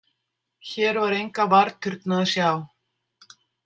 Hér var enga varðturna að sjá.